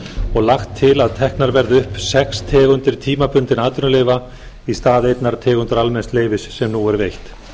og lagt til að teknar verði upp sex tegundir tímabundinna atvinnuleyfa í stað einnar tegundar almenns leyfis sem nú er veitt